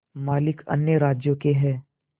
मालिक अन्य राज्यों के हैं